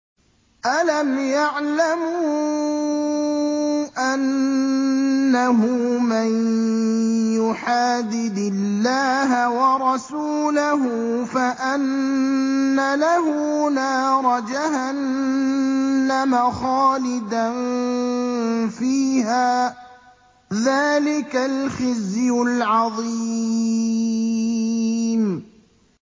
أَلَمْ يَعْلَمُوا أَنَّهُ مَن يُحَادِدِ اللَّهَ وَرَسُولَهُ فَأَنَّ لَهُ نَارَ جَهَنَّمَ خَالِدًا فِيهَا ۚ ذَٰلِكَ الْخِزْيُ الْعَظِيمُ